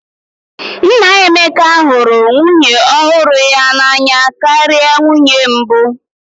Nna Emeka hụrụ nwunye ọhụrụ ya n'anya karịa nwunye mbụ